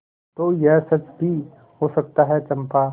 तो यह सच भी हो सकता है चंपा